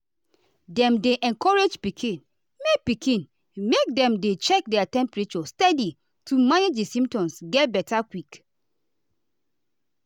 dem dey encourage pikin make pikin make dem dey check their temperature steady to manage di symptoms get beta quick.